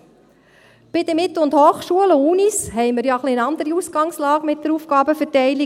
Bei den Mittel- und Hochschulen, den Unis, haben wir ja eine etwas andere Ausgangslage mit der Aufgabenverteilung.